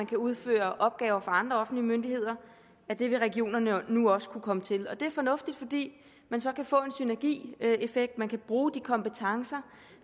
kan udføre opgaver for andre offentlige myndigheder og det vil regionerne nu også kunne komme til det er fornuftigt fordi man så kan få en synergieffekt man kan bruge de kompetencer